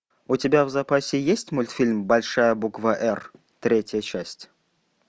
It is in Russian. у тебя в запасе есть мультфильм большая буква р третья часть